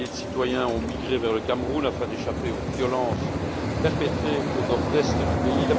Des milliers de citoyens ont migré vers le Cameroun afin d'échapper aux violences perpétrées au nord est du pays.